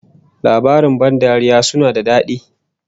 Labarin ban dariya suna da dadi